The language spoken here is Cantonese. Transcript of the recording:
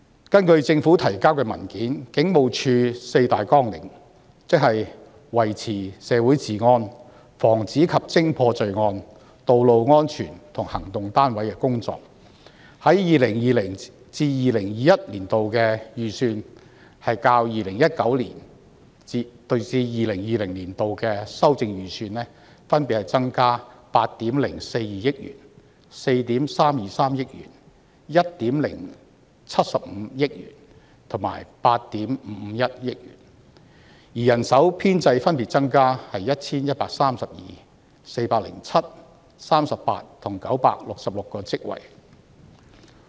根據政府提交的文件，警務處的四大綱領，即維持社會治安、防止及偵破罪案、道路安全及行動單位的工作，在 2020-2021 年度的預算開支較 2019-2020 年度修訂預算分別增加8億420萬元、4億 3,230 萬元、1億750萬元及8億 5,510 萬元，而人手編制則分別增加 1,132、407、38和966個職位。